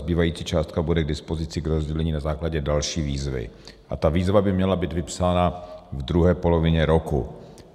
Zbývající částka bude k dispozici k rozdělení na základě další výzvy a ta výzva by měla být vypsána v druhé polovině roku.